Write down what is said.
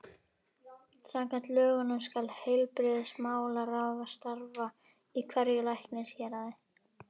Samkvæmt lögunum skal heilbrigðismálaráð starfa í hverju læknishéraði.